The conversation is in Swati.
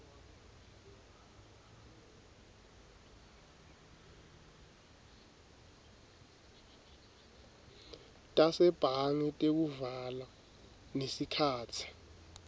tasebhange tekuvala nesikhatsi